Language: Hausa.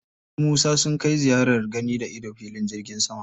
Su Musa sun kai ziyarar gani-da-ido filin jirgin sama.